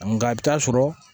Nka i bi taa sɔrɔ